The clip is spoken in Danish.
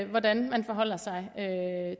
hvordan man forholder sig